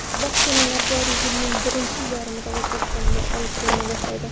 Vaksinalar joriy yilning birinchi yarmida O‘zbekistonga olib kelina boshlaydi.